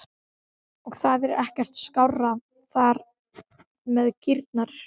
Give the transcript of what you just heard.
Og það er þá ekkert skárra þar með kýrnar?